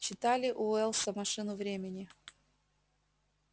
читали у уэллса машину времени